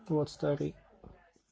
вот старый